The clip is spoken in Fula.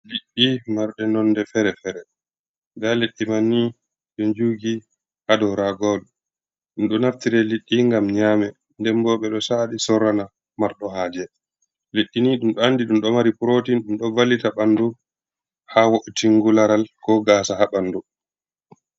Liɗɗi marde nonde fere-fere, nda liddi man ni ɗo jugi ha dou raga wol ɗum ɗo nartire liɗɗi ngam nyame, nden bo ɓe ɗo sa’a ɗi sorrana marɗo haje, liɗɗi ni ɗum ɗo andi ɗum ɗo mari protein, ɗum ɗo vallita ɓanɗu ha wo’utunki laral, ko gasa ha ɓanɗu.